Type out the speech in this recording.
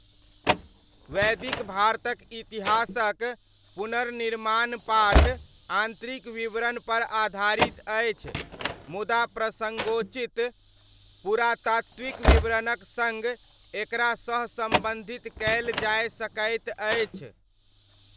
वैदिक भारतक इतिहासक पुनर्निर्माण पाठ आन्तरिक विवरणपर आधारित अछि मुदा प्रसङ्गोचित पुरातात्विक विवरणक सङ्ग एकरा सहसम्बन्धित कयल जाय सकैत अछि।